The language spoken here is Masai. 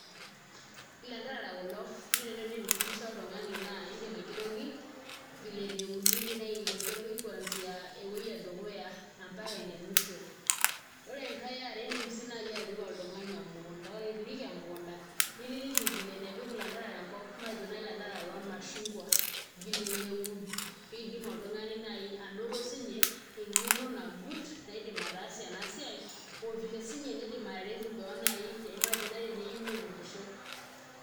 Ilanterera kulo iindim naai aifundisha oltung'ani naa indim aigeroki vile neuni, iindim aigeroki kwanzia ewuei edukuya ompaka enemusho ore enkai e are iindim sii naai atoriko oltung'ani emukunda, ore pee irik emukunda niliki vile nepik ilanterera enkop matejo naai ilanterera lormashungwa vile neun pee idim oltung'ani naai anoto siinye eg'eno nagut naidim ataasie ena siai o vile siinye niidim ataretie keon naai matejo teneyieu neunisho.